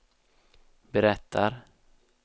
berättar